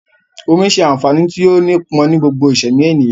Omi ṣe àǹfààní tí ó gbó pọ̀n ni gbogbo ìsẹ̀mí ènìyàn